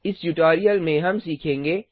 इस ट्यूटोरियल में हम सीखेंगे